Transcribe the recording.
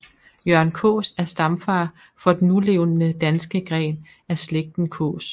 Jørgen Kaas er stamfar for den nulevende danske gren af slægten Kaas